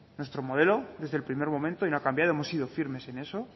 nuestro modelo desde el primer momento y no ha cambiado hemos sido firmes en eso